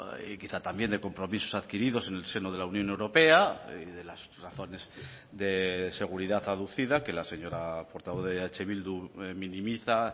y quizá también de compromisos adquiridos en el seno de la unión europea y de las razones de seguridad aducida que la señora portavoz de eh bildu minimiza